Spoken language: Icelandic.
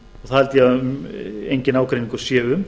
það held ég að enginn ágreiningur sé um